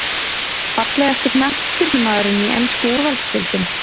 Fallegasti knattspyrnumaðurinn í ensku úrvalsdeildinni?